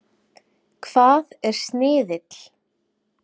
Hvað er sniðill?